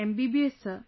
MBBS sir